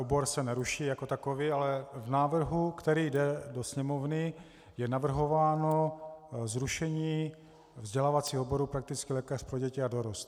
Obor se neruší jako takový, ale v návrhu, který jde do Sněmovny, je navrhováno zrušení vzdělávacího oboru praktický lékař pro děti a dorost.